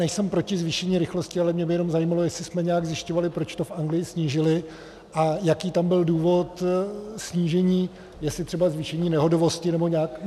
Nejsem proti zvýšení rychlosti, ale mě by jenom zajímalo, jestli jsme nějak zjišťovali, proč to v Anglii snížili a jaký tam byl důvod snížení, jestli třeba zvýšení nehodovosti nebo nějak...